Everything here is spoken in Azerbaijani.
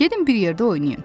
Gedin bir yerdə oynayın.